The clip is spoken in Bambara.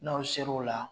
N'aw ser'o la